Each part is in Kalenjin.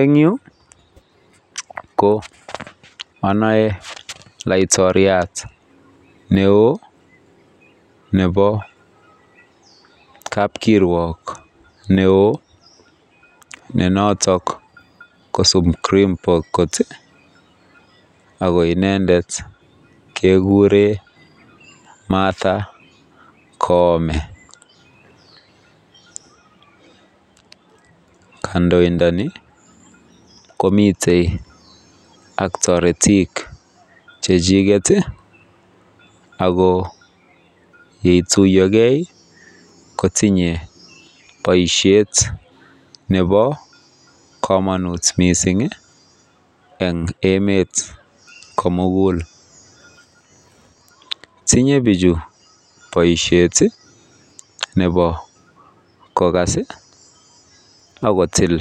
En Yu ko anae laiktoriat neon Nebo kabkirwok neo nenoton ko supreme court akoinendet kekuren Marta koome kandoindani komiten ak taretik chachuket ak yetuiyo gei kotinye baishet Nebo kamanut mising en emet komugul tinye bichu baishet Nebo kokas akotil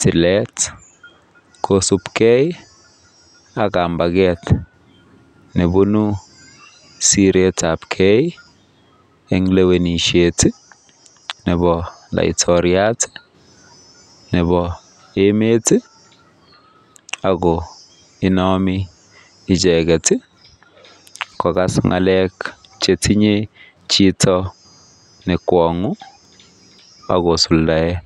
tilet kosubegei ak kambaket no Siret ab gei en lewenishet Nebo laitoria Nebo emet akoinami icheket kokas ngalek chetinye Chito nekwangu akosuldaen